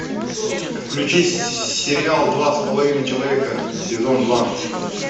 включи сериал два с половиной человека сезон два